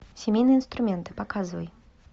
семейные инструменты показывай